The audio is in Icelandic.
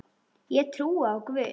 Ég trúi á Guð!